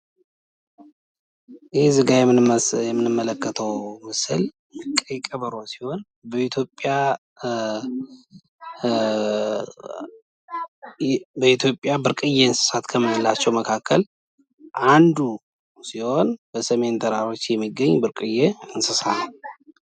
ይህ የምንመለከትው ምስል የቀይ ቀበሮ ምስል ሲሆን በኢትዮጵያ ብርቅየ ከሚባሉት የዱር እንስሳቶች አንዱ ሲሆን በሰሜን ተራራ የሚገኝ ብርቅየ የዱር እንስሳት ነው ።